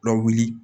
Lawuli